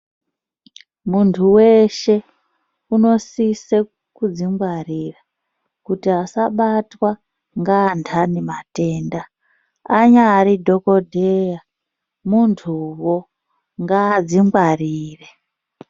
Muntu weshe unosise kudzingwarira, kuti asabatwa ngandani matenda, anyari dhokodheya muntuwo, ngaadzingwarire.